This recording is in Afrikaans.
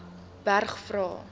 berg vra